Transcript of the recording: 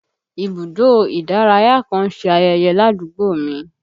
Ibùdó ìdárayá kan ń ṣe ayẹyẹ ládùúgbò mi